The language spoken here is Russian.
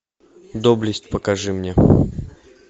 доблесть покажи мне